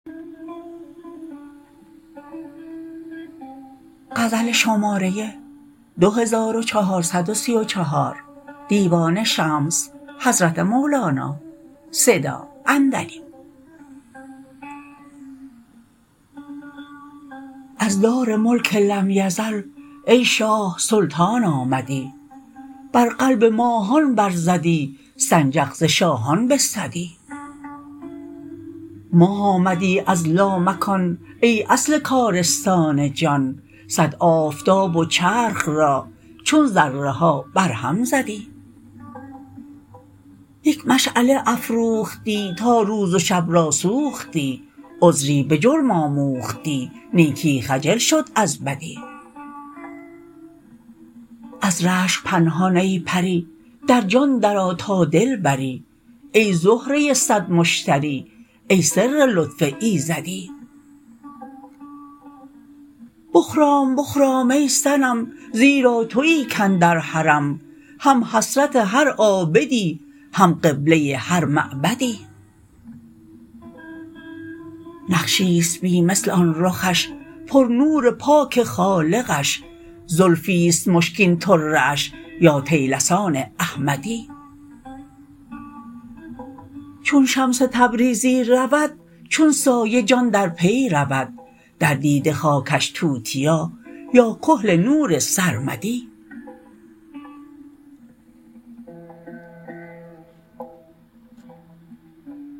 از دار ملک لم یزل ای شاه سلطان آمدی بر قلب ماهان برزدی سنجق ز شاهان بستدی ماه آمدی از لامکان ای اصل کارستان جان صد آفتاب و چرخ را چون ذره ها برهم زدی یک مشعله افروختی تا روز و شب را سوختی عذری به جرم آموختی نیکی خجل شد از بدی از رشک پنهان ای پری در جان درآ تا دل بری ای زهره صد مشتری ای سر لطف ایزدی بخرام بخرام ای صنم زیرا توی کاندر حرم هم حسرت هر عابدی هم قبله هر معبدی نقشی است بی مثل آن رخش پرنور پاک خالقش زلفی است مشکین طره اش یا طیلسان احمدی چون شمس تبریزی رود چون سایه جان در پی رود در دیده خاکش توتیا یا کحل نور سرمدی